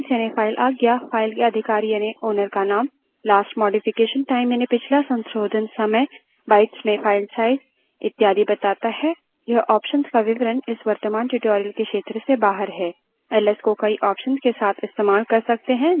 यह हमें file permissions यानि file आज्ञा file के अधिकारी यानि owner का name last modification time यानि पिछला संशोधन समय bytes में file size इत्यादि बताता है इस option का विवरण इस वर्त्तमान tutorial के क्षेत्र से बाहर है